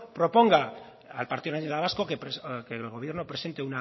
proponga al partido nacionalista vasco que el gobierno presente